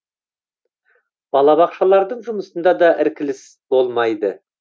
балабақшалардың жұмысында да іркіліс болмайды